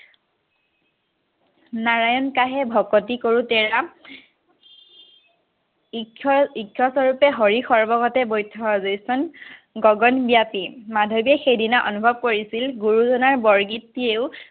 নাৰায়ন চাহে ভকতি কৰোঁতে ঈক্ষৰ ঈক্ষৰ স্বৰূপ হৰি সৰব কতে গগনব্যাপি মাধৱে সেইদিনা অনুভৱ কৰিছিল, গুৰুজনাৰ বৰগীতটিয়েও